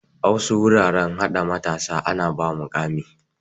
A wasu wuraren hada matasa ana ba ma muƙami.